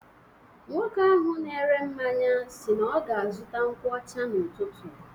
Nwoke ahụ na-ere mmanya si na ọ ga-azụta nkwu ọcha n'ụtụtụ.